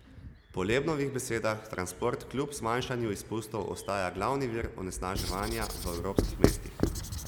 Po Lebnovih besedah transport kljub zmanjšanju izpustov ostaja glavni vir onesnaževanja v evropskih mestih.